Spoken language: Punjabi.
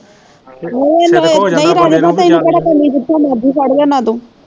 ਨਹੀਂ ਰਾਜੇ ਭਾ ਤੈਨੂੰ ਕਿਹੜਾ ਕਮੀ ਜਿਥੋਂ ਮਰਜ਼ੀ ਫੜ ਲਿਆਉਣਾ ਤੂੰ